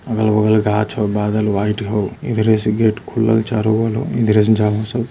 अगल बगल गाछ और बादल वाइट हो इधरे से गेट खुलल चारों बगल हो | इधरे जहाँ से --